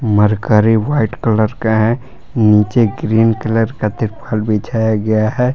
Mercury white colour का है नीचे ग्रीन कलर का तिरपाल बिछाया गया है।